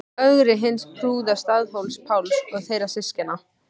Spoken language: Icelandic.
Ögri hins prúða, Staðarhóls-Páls og þeirra systkina.